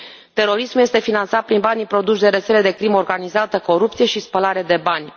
Terorismul este finanțat prin banii produși de rețele de crimă organizată, corupție și spălare de bani.